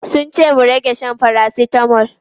Sun ce mu rage shan paracetamol.